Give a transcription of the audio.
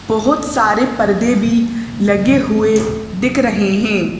बहुत सारे पर्दे भी लगे हुए दिख रहे हैं।